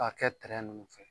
K'a kɛ nunnu fɛ